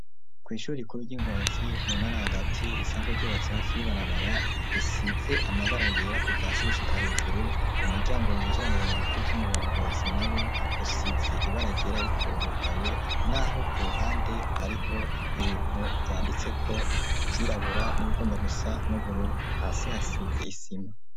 kw'ishurie rikuru ry'ingozi mu ntara hagati risanzwe ryubatse hafi y'ibarabara risize amabara yera kuva hasi gushika hejuru, umuryango winjira mu biro bikuru vy'umurongozi na wo usize ibara ryera ariko urugaye n'aho ku ruhande hariho ibintu vyanditseko ku vyirabura n'ibigomba gusa n'ubururu hasi hasize isima.